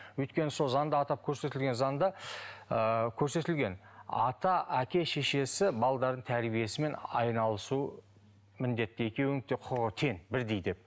өйткені сол заңда атап көрсетілген заңда ыыы көрсетілген ата әке шешесі балалардың тәрбиесімен айналысу міндетті екеуінің де құқығы тең бірдей деп